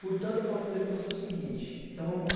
Portanto, eu posso dizer para você o seguinte, então vamos lá.